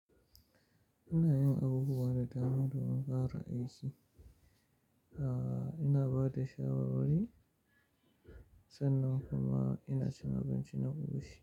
Ina yin abubuwa da dama domin bafa aiki. Aaa, ina ba da shawarwari sannan kuma ina cin abinci na ofishi.